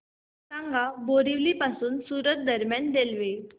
सांगा बोरिवली पासून सूरत दरम्यान रेल्वे